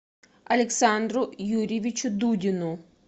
александру юрьевичу дудину